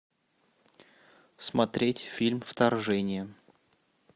смотреть фильм вторжение